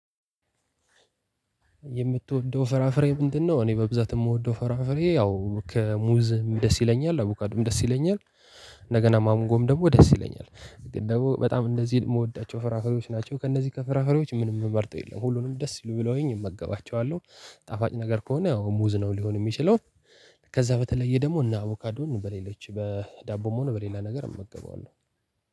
የምትወደው ፍራፍሬ ምንድነው? እኔ በብዛት የምወደው ፈራፍሬ ያው ከሙዝም ደስ ይለኛል አቡካድም ደስ ይለኛል። እንደገና ማሞጎም ደግሞ ደስ ይለኛል ግን ደግሞ በጣም እንደዚህ የምወዳቸው ፍራፍሬዎች ናቸው። ከእነዚህ ከፍራፍሬዎች ምንም የምመርጠው የለም ሁሉንም ደስ ብለውኝ እመጋባቸዋለሁ። ጣፋጭ ነገር ከሆነ ያው ሙዝ ነው ሊሆን የሚችለው። ከዛ በተለየ ደግሞ እና አቮካዶን በሌለች በዳቦም ሆኑ በሌላ ነገር እመገበዋለሁ።